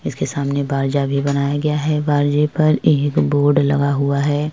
इसके सामने बारजा भी बनाया गया है। बारजे पर एक बोर्ड लगा हुआ है।